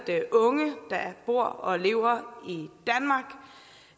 unge der bor og lever